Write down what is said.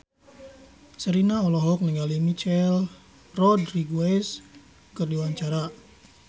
Sherina olohok ningali Michelle Rodriguez keur diwawancara